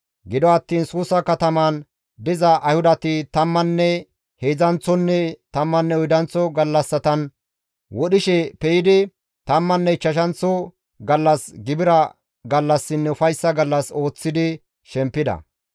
Gido attiin Suusa kataman diza Ayhudati tammanne heedzdzanththonne tammanne oydanththo gallassatan wodhishe pe7idi tammanne ichchashanththo gallas gibira gallassinne ufayssa gallas ooththidi shempida.